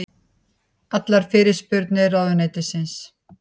Allar fyrirspurnir til ráðuneytisins